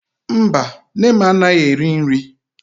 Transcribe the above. Mba, nne m anaghị eri nri.